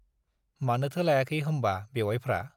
मानोथो लायाखै होम्बा बेउवाइफ्रा?